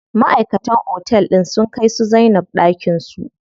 Maʼaikatan otel din sun kai su Zainab ɗakin su.